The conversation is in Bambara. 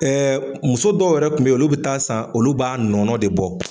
muso dɔw yɛrɛ kun be yen olu bi taa san olu b'a nɔnɔ de bɔ.